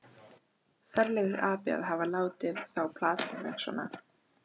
Ferlegur api að hafa látið þá plata mig svona.